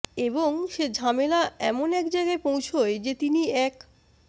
এবং সে ঝামেলা এমন এক জায়গায় পৌঁছোয় যে তিনি এক